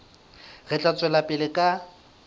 re tla tswela pele ka